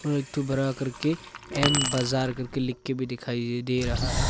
एक तो बड़ा करके एम बाजार करके लिखकर भी दिखाइए दे रहा है।